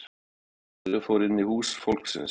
Maðurinn fór inn í hús fólksins